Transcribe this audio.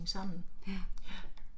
Ja